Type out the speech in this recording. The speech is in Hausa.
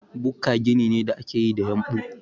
Bukka gini ne da ake yi da yumɓu.